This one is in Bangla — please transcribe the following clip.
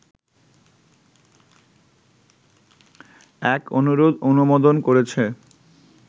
এক অনুরোধ অনুমোদন করেছে